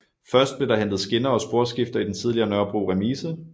Først blev der hentet skinner og sporskifter i den tidligere Nørrebro Remise